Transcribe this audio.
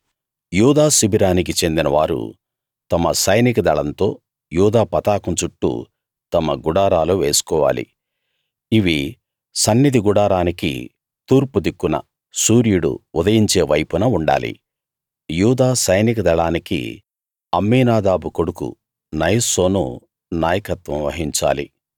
యూదా శిబిరానికి చెందిన వారు తమ సైనిక దళంతో యూదా పతాకం చుట్టూ తమ గుడారాలు వేసుకోవాలి ఇవి సన్నిధి గుడారానికి తూర్పు దిక్కున సూర్యుడు ఉదయించే వైపున ఉండాలి యూదా సైనిక దళానికి అమ్మీనాదాబు కొడుకు నయస్సోను నాయకత్వం వహించాలి